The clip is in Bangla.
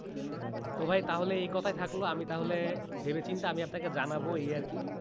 তো ভাই তাহলে কোথায় থাকল আমি তাহলে ভেবেচিন্তে আমি আপনাকে জানাবো এই আর কি